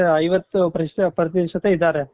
ಐವತ್ತು ಪ್ರತಿಶತ ಇದಾರೆ